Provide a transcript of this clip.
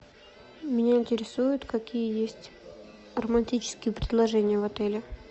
меня интересует какие есть романтические предложения в отеле